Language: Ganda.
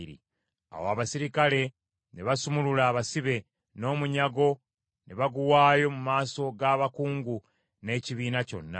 Awo abaserikale ne basumulula abasibe, n’omunyago ne baguwaayo mu maaso g’abakungu n’ekibiina kyonna.